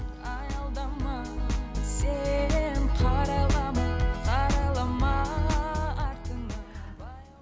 аялдама сен қарайлама қарайлама артыңа